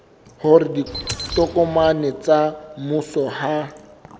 hore ditokomane tsa mmuso ha